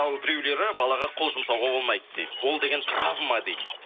ал біреулері балаға қол жұмсауға болмайды дейді ол деген травма дейді